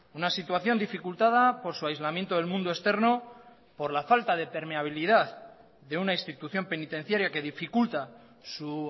una situación dificultada por su aislamiento del mundo externo por la falta de permeabilidad de una institución penitenciaria que dificulta su